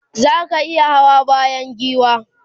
zaka iya Hawa bayan giwa?